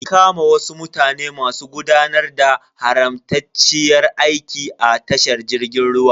An kama wasu mutane masu gudanar da haramtacciyar aiki a tashar jirgin ruwan.